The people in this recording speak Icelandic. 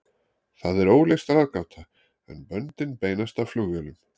Það er óleyst ráðgáta, en böndin beinast að flugvélum.